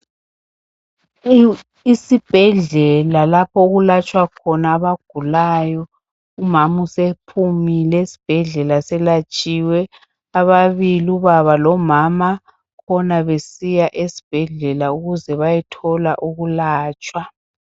Isibhedlela lapho okulatshwa khona abagulayo, umama usephumile esibhedlela selatshiwe. Ababili ubaba lomama khona besiya esibhedlela ukuze bayethola ukulatshwa.